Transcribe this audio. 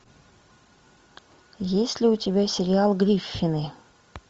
есть ли у тебя сериал гриффины